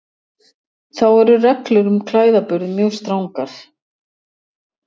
Þá eru reglur um klæðaburð mjög strangar.